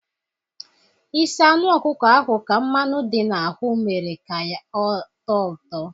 Isi anụ ọkụko ahụ ka mmanụ dị na ahụ mmere ya ka ọ tọọ ụtọ